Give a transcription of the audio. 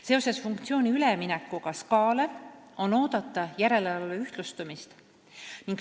Seoses funktsiooni üleminekuga SKA-le on oodata järelevalve ühtlustumist.